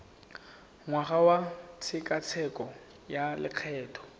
ngwaga wa tshekatsheko ya lokgetho